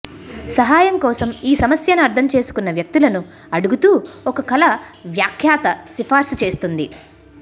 సహాయం కోసం ఈ సమస్యను అర్థం చేసుకున్న వ్యక్తులను అడుగుతూ ఒక కల వ్యాఖ్యాత సిఫార్సు చేస్తుంది